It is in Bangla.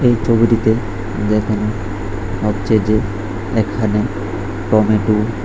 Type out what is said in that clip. ছবিটিতে দেখানো হচ্ছে যে এখানে টমেটো --